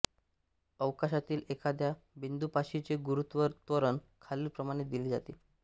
अवकाशातील एखाद्या बिंदूपाशीचे गुरुत्व त्वरण खालीलप्रमाणे दिले जाते